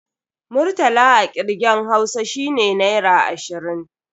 Murtala a kirgen Hausa shine Naira ashirin.